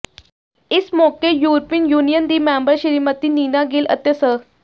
ਇਸ ਮੌਕੇ European Union ਦੀ ਮੈਂਬਰ ਸ੍ਰੀਮਤੀ ਨੀਨਾ ਗਿੱਲ ਅਤੇ ਸ